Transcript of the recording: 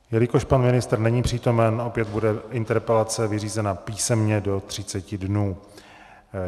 Jelikož pan ministr není přítomen, opět bude interpelace vyřízena písemně do 30 dnů.